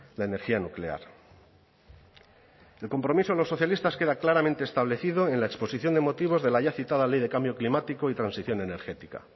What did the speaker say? la energía nuclear el compromiso de los socialistas queda claramente establecido en la exposición de motivos de la ya citada ley de cambio climático y transición energética